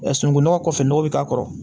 sununkunnɔgɔ kɔfɛ nɔgɔ be k'a kɔrɔ